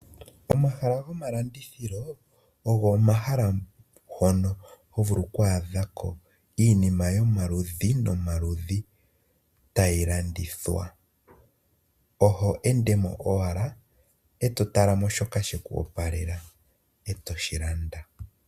Omahala gomalandithilo ogo omahala ngono hovulu okwaadhako iinima yomaludhi nomaludhi tayi landithwa . Oho endemo owala eto talamo shoka sheku opalela, etoshi landamo.